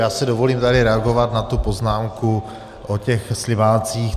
Já si dovolím tady reagovat na tu poznámku o těch slimácích.